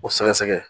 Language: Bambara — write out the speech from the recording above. O sɛgɛsɛgɛ